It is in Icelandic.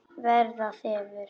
Verða þefur.